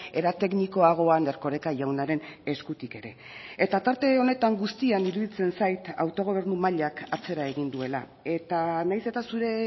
era teknikoagoan erkoreka jaunaren eskutik ere eta tarte honetan guztian iruditzen zait autogobernu mailak atzera egin duela eta nahiz eta zure